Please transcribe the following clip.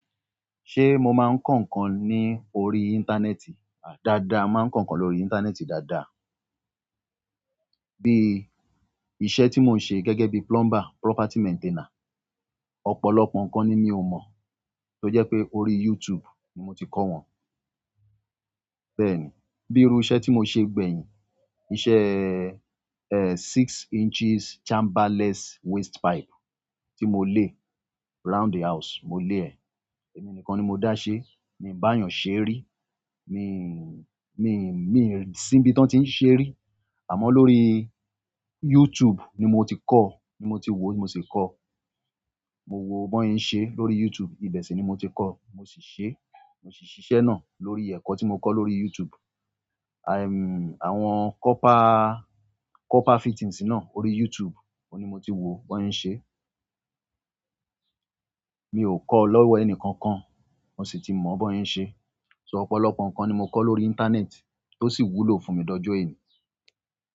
Ṣé mo máa ń kọ̀ ńkan ní orí. Íńtánẹ́ẹ̀tì? A dàda, máa ń kọ̀ ńkan lórí íńtánẹ́ẹ̀tì dáadáa. Bí iṣẹ́ tí mo ń ṣe gẹ́gẹ́ bí plumber, property maintainer, ọ̀pọ̀lọpọ̀ ńkan ni mi ò mọ̀ tó jẹ́ pé orí YouTube ni mo ti kọ́ wọn. Bẹ́ẹ̀ ni, bí irú iṣẹ́ tí mo ṣe gbẹ̀yìn, iṣẹ́, eh, six inches chamberless waste pipe tí mo lé round a house, mo lé ẹ̀, èmi nìkan ni mo dá ṣe. Mi bayan se ri mi si n bi ti wọn ti n se ri. Àmọ́ lórí YouTube ni mo ti kọ́, ni mo ti wò mo sì kọ́. Mo wo bóyìn ń ṣe lórí YouTube. Ibẹ̀ sì ni mo ti kọ́, mo sì ṣe, mo sì ṣiṣẹ́ náà lórí ẹ̀kọ́ tí mo kọ́ lórí YouTube. Aì, àwọn copper, copper fittings náà orí YouTube ni mo ti wò bóyìn ń ṣe. Mi ò kọ́ ọ́ lọ́wọ́ ẹni kankan, mo sì ti mọ̀ bóyìn ń ṣe. So ọ̀pọ̀lọpọ̀ ńkan ni mo kọ́ lórí íńtánẹ́ẹ̀tì tó sì wúlò fún mi dojọyìn.